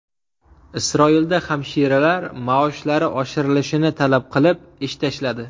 Isroilda hamshiralar maoshlari oshirilishini talab qilib ish tashladi.